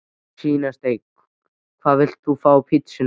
Svínasteik Hvað vilt þú fá á pizzuna þína?